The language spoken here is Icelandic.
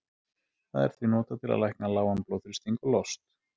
það er því notað til að lækna lágan blóðþrýsting og lost